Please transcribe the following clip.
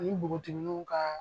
Ani bogotiginiw ka